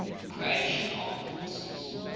croatian armed forces